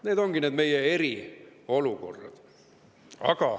Need ongi meie need eriolukorrad.